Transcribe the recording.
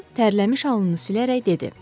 Con tərliş alnını silərək dedi.